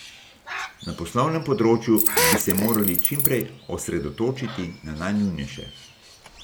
Na poslovnem področju bi se morali čim prej osredotočiti na najnujnejše.